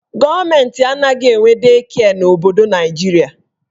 Gọọmenti anaghị enwe dei kịe n'obodo Naijiria.